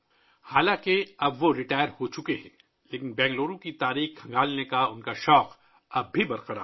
اگرچہ وہ اب ریٹائر ہو چکے ہیں، لیکن بنگلورو کی تاریخ کو تلاش کرنے کا ، ان کا جذبہ اب بھی بر قرار ہے